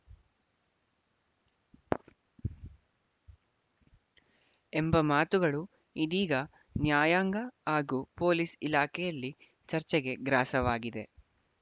ಎಂಬ ಮಾತುಗಳು ಇದೀಗ ನ್ಯಾಯಾಂಗ ಹಾಗೂ ಪೊಲೀಸ್‌ ಇಲಾಖೆಯಲ್ಲಿ ಚರ್ಚೆಗೆ ಗ್ರಾಸವಾಗಿದೆ